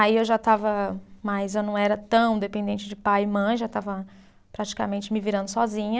Aí eu já estava mais, eu não era tão dependente de pai e mãe, já estava praticamente me virando sozinha.